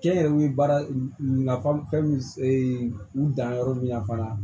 Kɛnyɛrɛye baara nafa min u danyɔrɔ min na fana